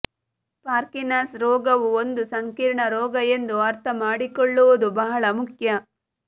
Parkinson ರೋಗವು ಒಂದು ಸಂಕೀರ್ಣ ರೋಗ ಎಂದು ಅರ್ಥಮಾಡಿಕೊಳ್ಳುವುದು ಬಹಳ ಮುಖ್ಯ